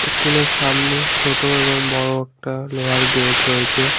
ইস্কুলের সামনে ছোটো এবং বড়ো একটা লোহার গেট রয়েছে।